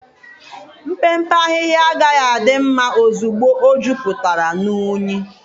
Mpempe ahịhịa agaghị adị mma ozugbo ọ juputara na unyi.